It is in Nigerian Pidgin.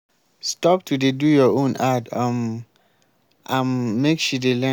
stop to dey do your own add um am make she dey learn.